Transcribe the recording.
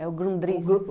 É o Grundris.